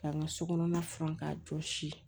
K'an ka so kɔnɔna furan k'a jɔsi